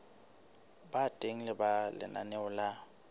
ba teng ha lenaneo la